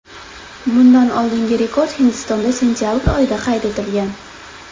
Bundan oldingi rekord Hindistonda sentabr oyida qayd etilgan.